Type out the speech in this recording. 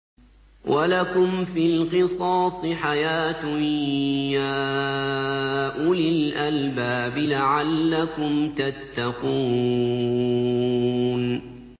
وَلَكُمْ فِي الْقِصَاصِ حَيَاةٌ يَا أُولِي الْأَلْبَابِ لَعَلَّكُمْ تَتَّقُونَ